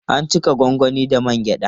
An cika gwangwani da man gyaɗa.